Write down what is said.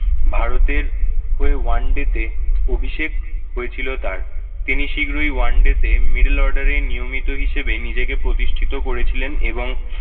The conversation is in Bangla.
ভারতের হয়ে oneday তে অভিষেক হয়েছিল তার। তিনি শীঘ্রই oneday তে middle order এ নিয়মিত হিসেবে নিজেকে প্রতিষ্ঠিত করেছিলেন এবং